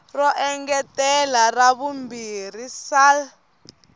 ro engetela ra vumbirhi sal